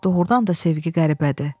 Doğrudan da sevgi qəribədir.